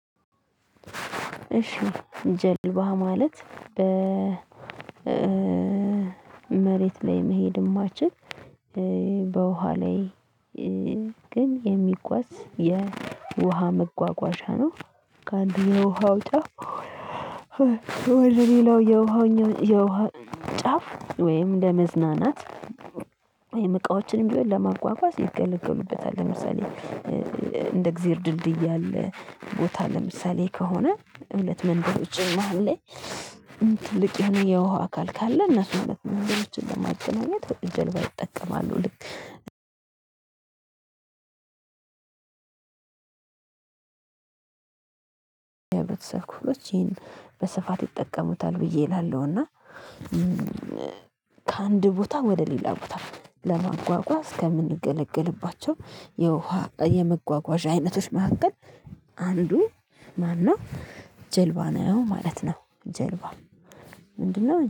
እሺ ጀልባ ማለት በ መሬት ላይ መሄድ የማይችል በወሃ ላይ ግን የሚጓዝ የወሃ መጓጓዣ ነው። ከአንድ የወሃው ጫው ወደ ሌላው የወሃው የውሃ ጫፍ ወይም ለመዝናናት እቃዎችንም ቢሆን ለማጓጓዝ ይገለገሉበታል። ለምሳሌ እንደ እግዚአብሔር ድልድይ ያለ ቦታ ለምሳሌ ከሆነ ሁለት መንደሮችን መሃል ላይ ትልቅ የሆነ የውሃ አካል ካለ እነሱን ሁለት መንደሮችን ለማገናኘት ጀልባ ይጠቀማሉ። ልክ በተሰርኩሎት ይሄን በስፋት ይጠቀሙታል ብዬ እላለሁ። እና ከአንድ ቦታ ወደ ሌላ ቦታ ለማጓጓዝ ከምንገለገልባቸው የውሃ የመጓጓዣ አይነቶች መካከል አንዱ ማን ነው ጀልባ ነው ማለት ነው። ጀልባ ምንድነው